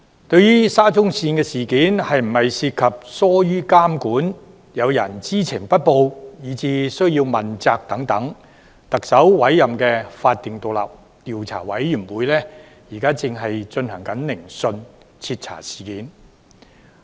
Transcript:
對於沙中線事件是否涉及疏於監管、有人知情不報，以至須要問責等問題，特首委任的法定獨立調查委員會現正進行聆訊，徹查事件。